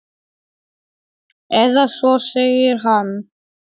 En þú gerðir ekkert rangt.